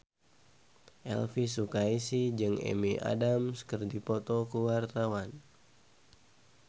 Elvi Sukaesih jeung Amy Adams keur dipoto ku wartawan